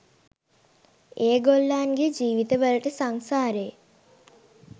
ඒගොල්ලන්ගේ ජීවිතවලට සංසාරයේ